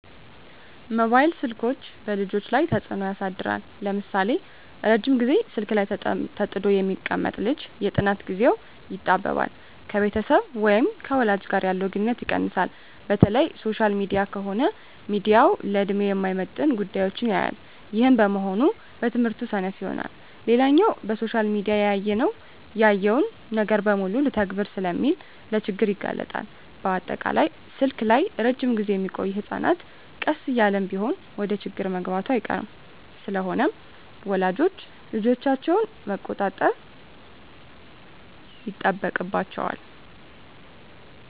መባይል ስልኮች በልጆች ላይ ተጽኖ ያሳድራል ለምሳሌ:- ረጅም ግዜ ስልክ ላይ ተጥዶ የሚቀመጥ ልጅ የጥናት ግዜው ይጣበባል፣ ከቤተሰብ ወይም ከወላጅ ጋር ያለው ግንኙነት ይቀንሳል፣ በተለይ ሶሻል ሚዲያ ከሆነ ሚያየው ለድሜው የማይመጥን ጉዳዮች ያያል ይህም በመሆኑ በትምህርቱ ሰነፍ ይሆናል። ሌላኛው በሶሻል ሚዲያ ያየውን ነገር በሙሉ ልተግብር ስለሚል ለችግር ይጋለጣል፣ በአጠቃላይ ስልክ ላይ እረጅም ግዜ ሚቆዮ ህጸናት ቀስ እያለም ቢሆን ወደችግር መግባቱ አይቀርም። ስለሆነም ወላጆች ልጆቻቸውን መቆጣጠር ይጠበቅባቸዋል